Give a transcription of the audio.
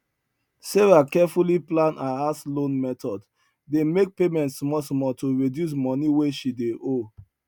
sarah carefully plan her house loan method dey make payment smallsmall to reduce money wey she dey owe